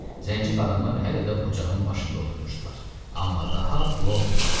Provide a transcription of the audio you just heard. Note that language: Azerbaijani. Zənci qadınlar hələ də ocağın başında oturmuşdular, amma daha dua oxumurdular.